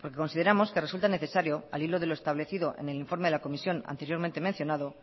porque consideramos que resulta necesario al hilo de lo establecido en el informe de la comisión anteriormente mencionado